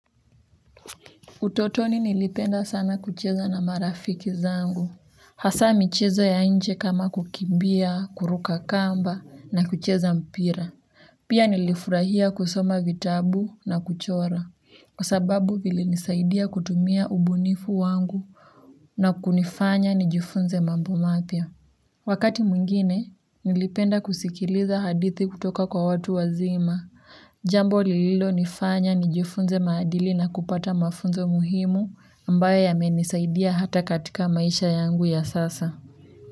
Utotoni nilipenda sana kucheza na marafiki zangu. Hasa michezo ya nje kama kukimbia, kuruka kamba na kucheza mpira. Pia nilifurahia kusoma vitabu na kuchora. Kwa sababu vilinisaidia kutumia ubunifu wangu na kunifanya nijifunze mambo mapya wakati mwingine, nilipenda kusikiliza hadithi kutoka kwa watu wazima. Jambo lililo nifanya nijufunze maadili na kupata mafunzo muhimu ambayo yamenisaidia hata katika maisha yangu ya sasa.